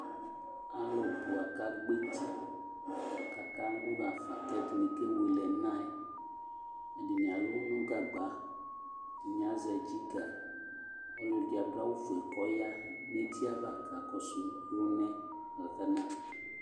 Alʋ bua kagbɔ eti, kakalʋɣafa, kɛdini kewele ɛna ɛ, kɛdini alʋ nʋ gagba, ɛdini azɛ dziga Ɔlɔdi adu awʋ fue kɔya neti a va kakɔsʋ ɔlʋnaɛ kakana